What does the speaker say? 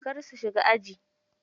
Kar su shiga aji.